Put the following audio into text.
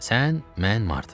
Sən, mən, Marta.